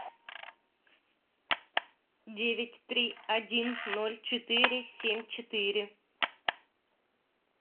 девять три один ноль четыре семь четыре